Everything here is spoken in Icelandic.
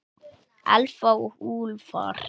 Elfa og Úlfar.